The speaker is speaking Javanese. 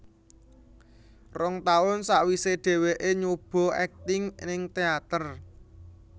Rong taun sawisé dheweké nyoba akting ning teater